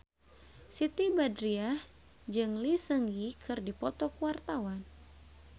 Siti Badriah jeung Lee Seung Gi keur dipoto ku wartawan